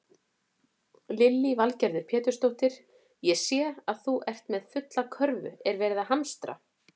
Lillý Valgerður Pétursdóttir: Ég sé að þú ert með fulla körfu, er verið að hamstra?